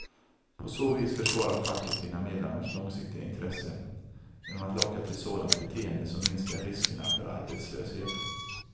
På så vis försvarar facket sina medlemmars långsiktiga intresse, genom att locka till sådant beteende som minskar riskerna för arbetslöshet.